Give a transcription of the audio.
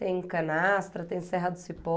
Tem Canastra, tem Serra do Cipó.